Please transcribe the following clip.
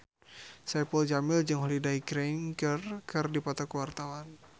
Saipul Jamil jeung Holliday Grainger keur dipoto ku wartawan